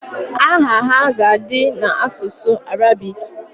Aha ha ga-adị n'asụsụ Arabik